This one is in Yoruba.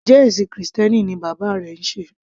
Njẹ́ ẹ̀ṣìn krìstẹ́nì ni bàbá rẹ ń sé?